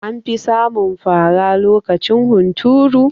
Anfi samun fara lokacin hunturu